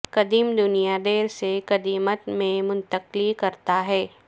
قدیم دنیا دیر سے قدیمت میں منتقلی کرتا ہے